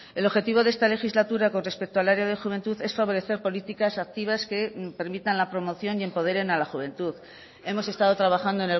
el objetivo de esta legislatura con respecto al área de juventud es favorecer políticas activas que permitan la promoción y empoderen a la juventud hemos estado trabajando